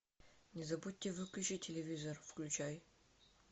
не забудьте выключить телевизор включай